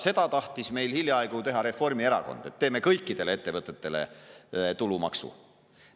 Seda tahtis hiljaaegu teha Reformierakond, kes tahtis teha kõikidele ettevõtetele tulumaksu.